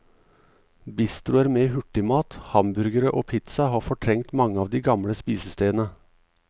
Bistroer med hurtigmat, hamburgere og pizza har fortrengt mange av de gamle spisestedene.